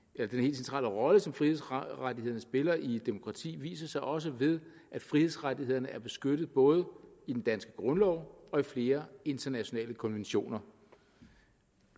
centrale rolle som frihedsrettighederne spiller i et demokrati viser sig også ved at frihedsrettighederne er beskyttet både i den danske grundlov og i flere internationale konventioner